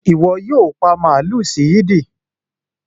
Ìwo yio pa màlú sí Eid